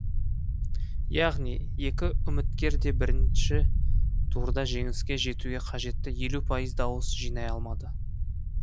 яғни екі үміткер де бірінші турда жеңіске жетуге қажетті елу пайыз дауыс жинай алмады